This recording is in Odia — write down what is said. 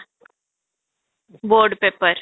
board paper